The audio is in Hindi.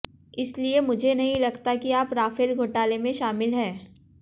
इसलिए मुझे नहीं लगता कि आप राफेल घोटाले में शामिल हैं